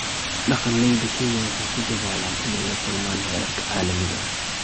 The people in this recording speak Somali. Dhaqanleyda Kenya waxay ku dadaalayaan inay la kulmaan heerarka caalamiga ah.